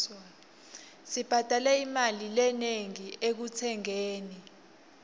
sibhadale imali lenengi ekutsengeni